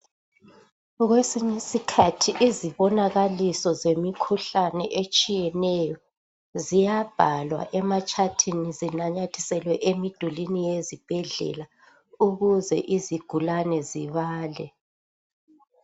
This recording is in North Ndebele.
Kwesinye iskhathi izibonakaliso zemikhuhlane etshiyeneyo ziyabhalwa ematshathini zinanyathiselwe emidulwini yezibhedlela ukuze izigulane zibale.